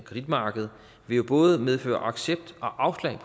kreditmarked jo både vil medføre accept og afslag